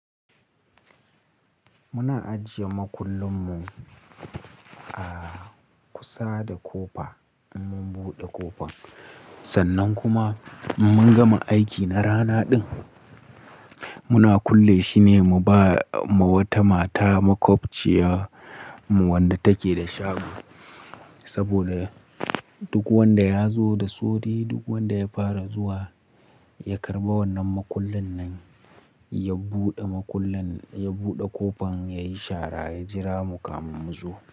Muna ajiye makullin mu a kusa da kofa in mun buɗe ƙofar. Sannan kuma in mun gama aiki na rana din, muna kulle shi ne mu bama wata mata maƙwabciyarmu wanda take da shago. Saboda duk wanda ya zo da sauri, duk wanda ya fara zuwa ya karɓa wannan maƙullin nan, ya buɗe maƙullin, ya buɗe ƙofar, yayi shara, ya jira mu kamun mu zo.